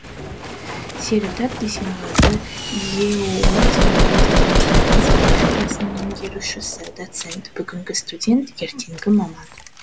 серікзат дүйсенғазы еұу телерадио және байланыс кафедрасының меңгерушісі доцент бүгінгі студент ертеңгі маман